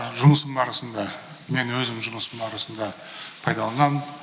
жұмысым барысында мен өзім жұмыс барысында пайдаланамын